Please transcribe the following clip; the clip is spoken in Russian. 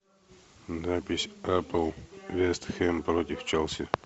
запись апл вест хэм против челси